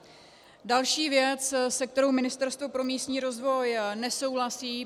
Další věc, se kterou Ministerstvo pro místní rozvoj nesouhlasí.